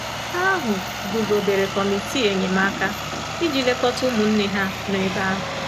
Ha ahụ guzobere kọmitii enyemaka iji lekọta ụmụnne ha nọ ebe ahụ.